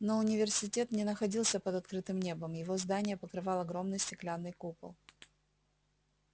но университет не находился под открытым небом его здание покрывал огромный стеклянный купол